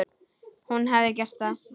Hún hefði gert það.